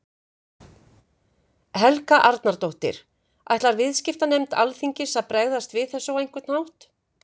Helga Arnardóttir: Ætlar viðskiptanefnd Alþingis að bregðast við þessu á einhvern hátt?